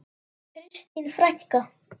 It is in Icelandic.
Kristín frænka.